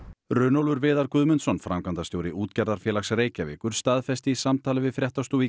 Runólfur Viðar Guðmundsson framkvæmdastjóri Útgerðarfélags Reykjavíkur staðfesti í samtali við fréttastofu í